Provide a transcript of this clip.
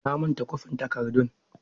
Na manta kwafin takardun.